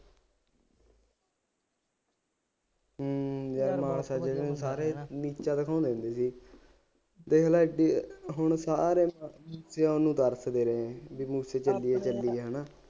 ਹੂੰ ਸਾਰੇ ਮੂਸੇ ਵਾਲੇ ਦੇਖ ਲੈ ਐਡੀ ਹੁਣ ਸਾਰੇ ਮੂਸੇ ਵਾਲੇ ਨੂੰ ਦੱਸਦੇ ਹੈ ਬਈ ਉੱਥੇ ਚੱਲੀਏ ਚੱਲੀਏ ਹੈ ਨਾ